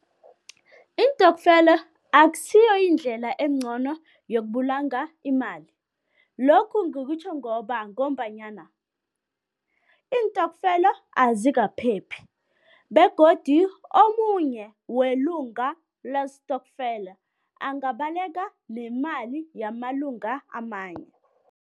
Iintokfela akusiyo indlela engcono yokubulunga imali, lokhu ngikutjho ngoba, ngombanyana iintokfela azikaphephi begodu omunye welunga lestokfela angabaleka nemali yamalunga amanye.